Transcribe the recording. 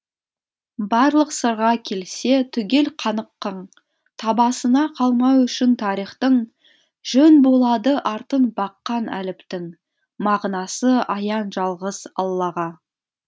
барлық сырға келсе түгел қаныққың табасына қалмау үшін тарихтың жөн болады артын баққан әліптің мағынасы аян жалғыз аллаға